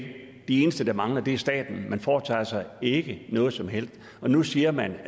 de eneste der mangler er staten man foretager sig ikke noget som helst og nu siger man